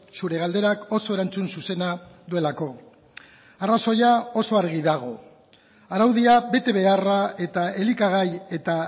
zure galderak oso erantzun zuzena duelako arrazoia oso argi dago araudia betebeharra eta elikagai eta